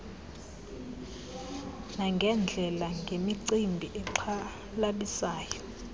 nangeendlela ngemicimbi exhalabisayo